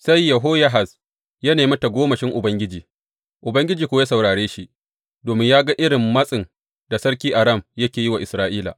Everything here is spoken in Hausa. Sai Yehoyahaz ya nemi tagomashin Ubangiji, Ubangiji kuwa ya saurare shi, domin ya gan irin matsin da sarkin Aram yake yi wa Isra’ila.